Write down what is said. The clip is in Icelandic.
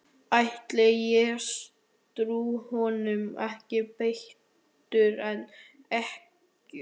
Ætli ég trúi honum ekki betur en ykkur.